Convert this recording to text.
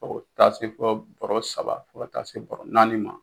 Fɔ ka taa se fɔ baro saba, fo taa se bɔrɔ naani ma.